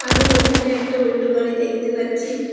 আমি এখানে একটা উল্টো বাড়ি দেখতে পাচ্ছি